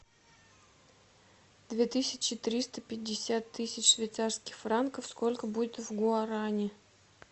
две тысячи триста пятьдесят тысяч швейцарских франков сколько будет в гуарани